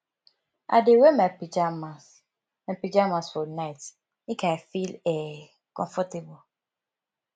i dey wear my pajamas my pajamas for night make i feel um comfortable